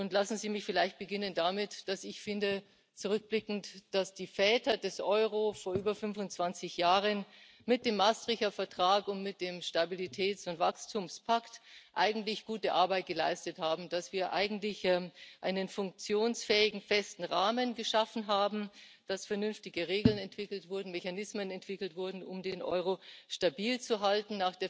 Lassen Sie mich vielleicht damit beginnen, dass ich finde zurückblickend dass die Väter des Euro vor über 25 Jahren mit dem Maastrichter Vertrag und mit dem Stabilitäts und Wachstumspakt eigentlich gute Arbeit geleistet haben, dass wir eigentlich einen funktionsfähigen, festen Rahmen geschaffen haben, dass vernünftige Regeln und Mechanismen entwickelt wurden, um den Euro stabil zu halten.